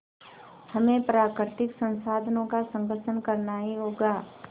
हमें प्राकृतिक संसाधनों का संरक्षण करना ही होगा